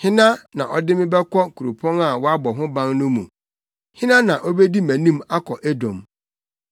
Hena na ɔde me bɛkɔ kuropɔn a wɔabɔ ho ban no mu? Hena na obedi mʼanim akɔ Edom?